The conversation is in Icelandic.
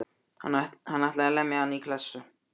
Hann ætlaði að lemja hann í klessu.